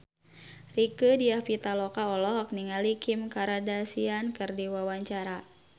Rieke Diah Pitaloka olohok ningali Kim Kardashian keur diwawancara